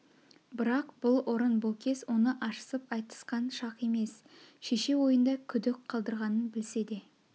бірақ бұл орын бұл кез оны ашысып айтысқан шақ емес шеше ойында күдік қалдырғанын білсе де